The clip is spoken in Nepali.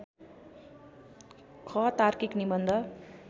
ख तार्किक निबन्ध